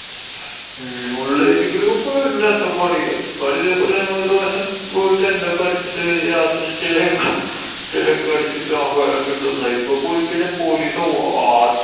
ഹും ഉള്‍ area കൂട്യൊക്കെ പോയാ എന്തു അട്ടപ്പാടി? അട്ടപ്പാടി ഇതേപോലെ ഞങ്ങളൊരു പ്രാവശ്യം പോയി tent ഒക്കെ അടിച്ചിട്ട് രാത്രി stay ഒക്കെ stay ഒക്കെ അടിച്ച് camp fire ഒക്കെ ഇട്ട് നന്നായി. ഇപ്പൊ പോയി കഴിഞ്ഞാ police ആട്ടും.